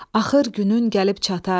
Axır günün gəlib çatar.